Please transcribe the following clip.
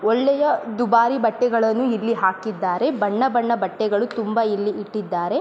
ಒಳ್ಳೆಯ ದುಬಾರಿ ಬಟ್ಟೆಗಳನ್ನು ಇಲ್ಲಿ ಹಾಕಿದ್ದಾರೆ. ಬಣ್ಣ ಬಣ್ಣ ಬಟ್ಟೆಗಳು ತುಂಬಾ ಇಲ್ಲಿ ಇಟ್ಟಿದ್ದಾರೆ.